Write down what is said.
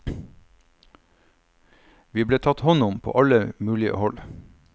Vi ble tatt hånd om på alle mulige hold.